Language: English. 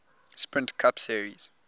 sprint cup series